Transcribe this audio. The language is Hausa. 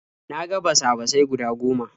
Na ga basa-basai guda goma.